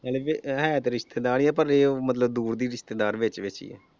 ਨਾਲੇ ਫਿਰ ਹੈ ਤੇ ਰਿਸ਼ਤੇਦਾਰ ਈ ਆ ਪਰ ਇਹ ਆ ਮਤਲਬ ਦੂਰ ਦੀ ਰਿਸ਼ਤੇਦਾਰ ਵਿਚ ਵਿਚ।